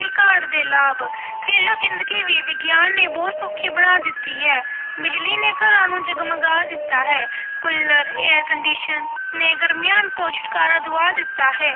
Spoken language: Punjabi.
ਕਾਢ ਦੇ ਲਾਭ ਘਰੇਲੂ ਜ਼ਿੰਦਗੀ ਵੀ ਵਿਗਿਆਨ ਨੇ ਬਹੁਤ ਸੌਖੀ ਬਣਾ ਦਿੱਤੀ ਹੈ, ਬਿਜ਼ਲੀ ਨੇ ਘਰਾਂ ਨੂੰ ਜਗਮਗਾ ਦਿੱਤਾ ਹੈ ਕੁੱਲਰ air condition ਨੇ ਗਰਮੀਆਂ ਤੋਂ ਛੁਟਕਾਰਾ ਦਵਾ ਦਿੱਤਾ ਹੈ।